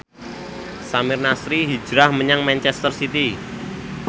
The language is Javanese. Samir Nasri hijrah menyang manchester city